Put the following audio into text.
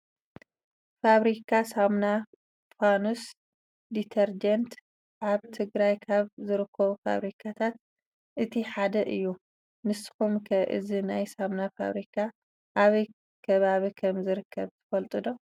ፋብሪካ ሳሙና ፋኖስ ዲተርጀንት ኣብ ትግራይ ካብ ዝርከቡ ፋብሪካታት እቲ ሓደ እዩ። ንስኹም ኸ እዚ ናይ ሳሙና ፋብሪካ ኣበይ ከባቢ ከም ዝርከብ ትፈልጡ ዶ?